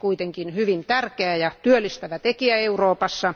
Se olisi kuitenkin hyvin tärkeä ja työllistävä tekijä Euroopassa.